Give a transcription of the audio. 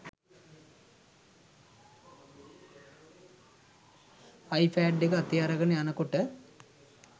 iPad එක අතේ අරගෙන යනකොට